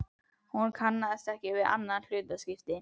Hún kannaðist ekki við annað hlutskipti.